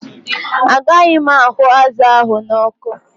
Ágaghi m ahụ́ azụ ahụ n'ọkụ